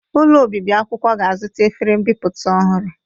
Ụlọ obibi akwụkwọ ga-azụta efere mbipụta ọhụrụ.